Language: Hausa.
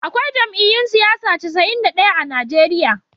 Akwai jam'iyyun siyasa casa'in da daya a Najeriya